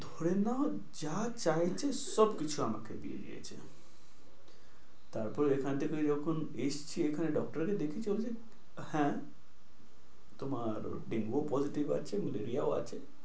ধরে নাও যা চইছে সব কিছু আমাকে দিয়ে দিয়েছে। তারপরে এখান থেকে যখন এসছি এখানে doctor দেখিয়েছি only হ্যাঁ, তোমার ডেঙ্গুও positive আছে ম্যালেরিয়াও আছে।